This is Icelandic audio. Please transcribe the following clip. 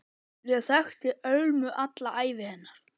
Ég þekkti Ölmu alla ævi hennar.